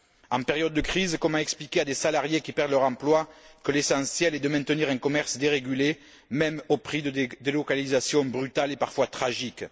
En période de crise, comment expliquer à des salariés qui perdent leur emploi que l'essentiel est de maintenir un commerce dérégulé, même au prix de délocalisations brutales et parfois tragiques?